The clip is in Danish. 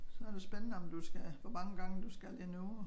Så det spændende om du skal hvor mange gange du skal indover